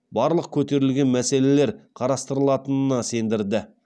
барлық көтерілген мәселелер қарастырылатынына сендірді